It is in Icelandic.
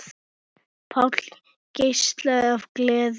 Páll geislar af gleði.